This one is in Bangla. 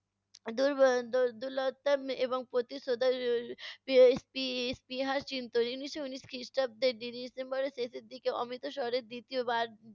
দুর্বঅ দুলতা এবং প্রতিশোধার স্পি~ স্পৃহা উনিশশো ঊনিশ খ্রিস্টাব্দের ডিসেম্বরের শেষের দিকে অমিতসরে দ্বিতীয় বার